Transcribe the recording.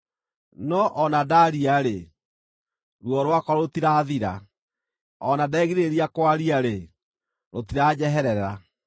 “No o na ndaaria-rĩ, ruo rwakwa rũtirathira; o na ndegirĩrĩria kwaria-rĩ, rũtiranjeherera.